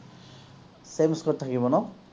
same score থাকিব ন?